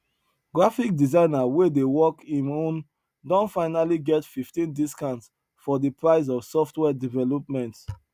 graphic designer wey dey work him own don finally get 15 discount for the price of software development